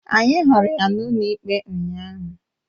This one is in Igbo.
Anyị hụrụ ya n'ụlọikpe ụnyaahụ